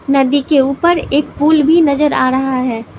नदी के ऊपर एक पुल भी नजर आ रहा है।